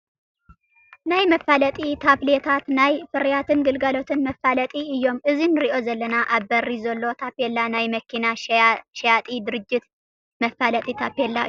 ናይ መፋለጢ ታፔላታት ናይ ፍርያትን ግልጋሎትን መፋለጢ እዮም፡፡ እዚ ንሪኦ ዘለና ኣብ በሪ ዘሎ ታፔላ ናይ መኪና ሸያጢ ድርጅት መፋለጢ ታፔላ እዩ፡፡